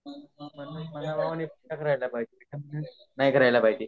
नाही करायला पाहिजे